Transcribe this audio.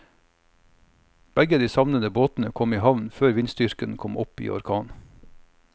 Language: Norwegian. Begge de savnede båtene kom i havn før vindstyrken kom opp i orkan.